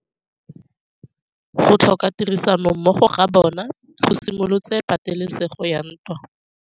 Go tlhoka tirsanommogo ga bone go simolotse patêlêsêgô ya ntwa.